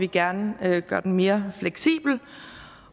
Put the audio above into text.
gerne gøre den mere fleksibel